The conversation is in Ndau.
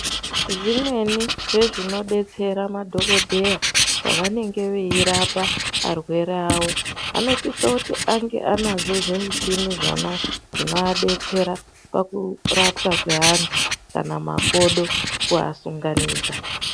Zvimweni zvezvinodetsera madhokodheya pavanenge veirapa arwere avo anosisa kuti ange ane zvimichini zvona zvinoadetsera pakurapwa kweantu kana makodo kuasunganidza.